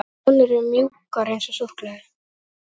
Konur eru mjúkar eins og súkkulaði.